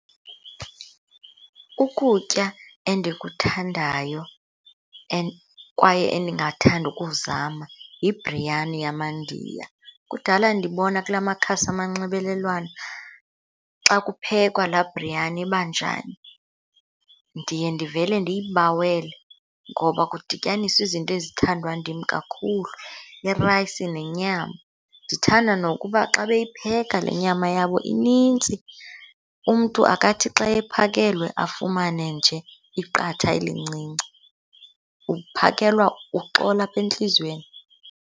Ukutya endikuthandayo kwaye endingathanda ukuzama yibriyani yamaNdiya. Kudala ndibona kula makhasi amanxibelelwano xa kuphekwa laa briyani ibanjani. Ndiye ndivele ndiyibawele ngoba kudityaniswa izinto ezithandwa ndim kakhulu, irayisi nenyama. Ndithanda nokuba xa beyipheka le nyama yabo inintsi. Umntu akathi xa ephakelwe afumane nje iqatha elincinci, uphakelwa uxole apha entliziyweni.